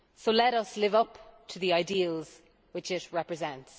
Let us live up to the ideals which it represents.